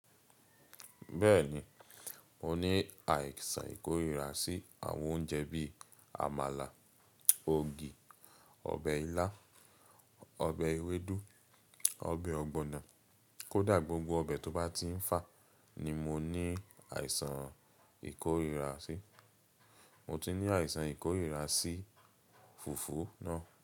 Bẹ́ẹ̀ni, mo ní àìsàn ìkórìíra sí àwọn oúnjẹ bí i àmàlà, ògì, ọbẹ̀ ilá, ọbẹ̀ ewédú, ọbẹ̀ ọ̀gbọ̀nà kódà gbogbo ọbẹ̀ tó bá ti ń fà ni mo ní àìsàn ìkórìíra sí. Mo ti ní àìsàn ìkórìíra sí fùfú náà.